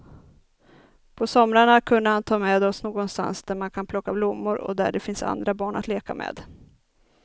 På somrarna kunde han ta med oss någonstans där man kan plocka blommor eller där det finns andra barn att leka med.